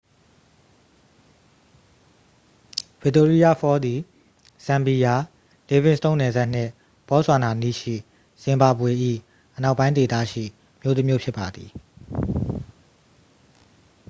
victoria falls သည် ဇမ်ဘီယာ livingstone နယ်စပ်နှင့် ဘော့ဆွာနာအနီးရှိ ဇင်ဘာဘွေ၏ အနောက်ပိုင်းဒေသရှိ မြို့တစ်မြို့ဖြစ်ပါသည်